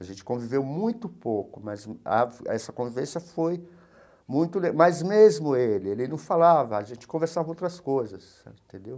A gente conviveu muito pouco, mas a essa convivência foi muito... Mas mesmo ele, ele não falava, a gente conversava outras coisas, entendeu?